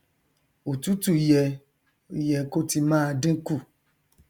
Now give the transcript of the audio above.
òtútù yẹ yẹ kó ti máa dínkù